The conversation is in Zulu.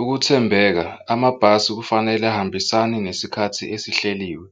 Ukuthembeka amabhasi kufanele ahambisane ngesikhathi esihleliwe